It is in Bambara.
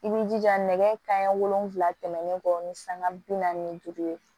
I b'i jija nɛgɛ kanɲɛ wolonwula tɛmɛnen kɔ ni sanga bi naani duuru ye